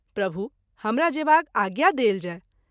प्रभु !हमरा जेबाक आज्ञा देल जाय।